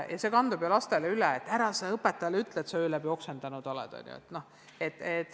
See kandub ju lastele üle – ära sa õpetajale ütle, et sa öö läbi oksendanud oled!